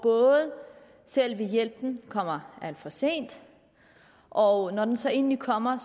selve hjælpen kommer alt for sent og når den så endelig kommer